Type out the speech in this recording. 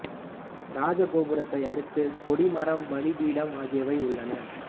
ராஜ கோபுரத்தை அடுத்து கொடி மரம் பலி பீடம் ஆகியவை உள்ளன